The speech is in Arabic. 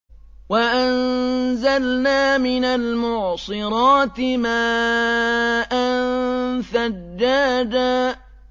وَأَنزَلْنَا مِنَ الْمُعْصِرَاتِ مَاءً ثَجَّاجًا